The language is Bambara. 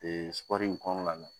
sugandi kɔnɔna na